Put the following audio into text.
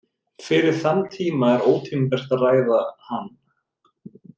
Fyrir þann tíma er ótímabært að ræða hann.